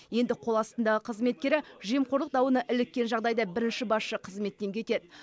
енді қол астындағы қызметкері жемқорлық дауына іліккен жағдайда бірінші басшы қызметтен кетеді